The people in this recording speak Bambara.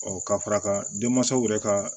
ka fara kan denmansaw yɛrɛ ka